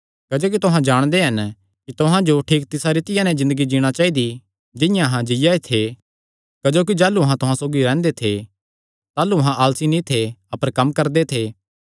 क्जोकि तुहां जाणदे हन कि तुहां जो ठीक तिसा रीतिया नैं ज़िन्दगी जीणा चाइदी जिंआं अहां जीआ थे क्जोकि जाह़लू अहां तुहां सौगी रैंह्दे थे ताह़लू अहां आलसी नीं थे अपर कम्म करदे थे